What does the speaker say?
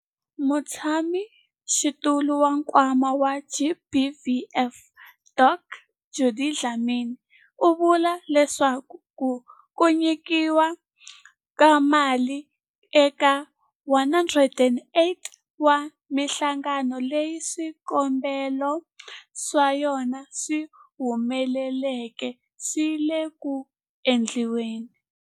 Mutshamaxitulu wa Nkwama wa GBVF, Dkd Judy Dlamini, u vule leswaku ku nyikiwa ka mali eka 108 wa mihlangano leyi swikombelo swa yona swi humeleleke swi le ku endliweni.